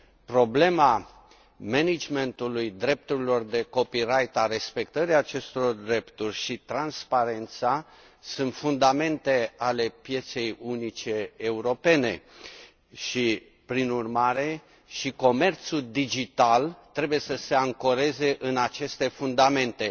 Problema managementului drepturilor de copyright a respectării acestor drepturi și transparența sunt fundamente ale pieței unice europene și, prin urmare, și comerțul digital trebuie să se ancoreze în aceste fundamente.